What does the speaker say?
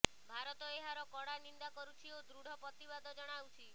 ଭାରତ ଏହାର କଡ଼ା ନିନ୍ଦା କରୁଛି ଓ ଦୃଢ ପ୍ରତିବାଦ ଜଣାଉଛି